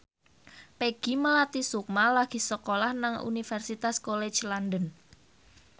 Peggy Melati Sukma lagi sekolah nang Universitas College London